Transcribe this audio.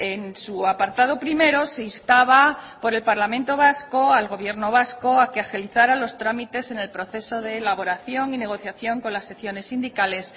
en su apartado primero se instaba por el parlamento vasco al gobierno vasco a que agilizara los trámites en el proceso de elaboración y negociación con las secciones sindicales